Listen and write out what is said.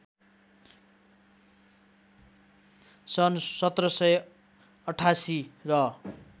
सन् १७८८ र